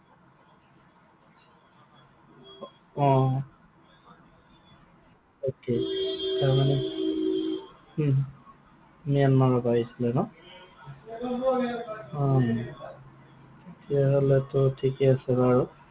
অ। okay তাৰমানে উম ম্যানমাৰৰ পৰা আহিছিলে ন? অ। তেতিয়াহলেতো ঠিকেই আছে বাৰু।